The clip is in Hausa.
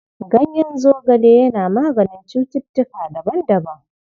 Ganyen zogale yana maganin cututtuka daban-daban..